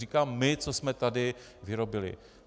Říkám my, co jsme tady vyrobili.